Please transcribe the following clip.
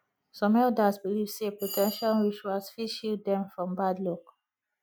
some elders believe sey protection rituals fit shield dem from bad luck